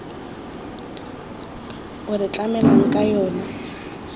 o re tlamelang ka yona